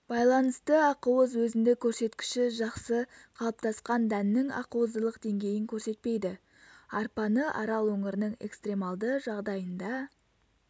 байланысты ақуыз өзіндік көрсеткіші жақсы қалыптасқан дәннің ақуыздылық деңгейін көрсетпейді арпаны арал өңірінің экстремалды жағдайында